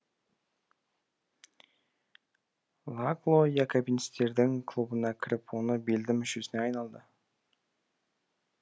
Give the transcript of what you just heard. лакло якобинцтердің клубына кіріп оның белді мүшесіне айналды